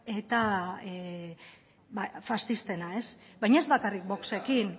eta bada faxistena ez baina ez bakarrik voxekin